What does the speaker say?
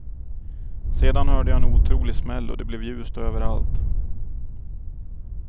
Sedan hörde jag en otrolig smäll och det blev ljust överallt.